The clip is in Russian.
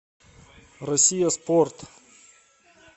россия спорт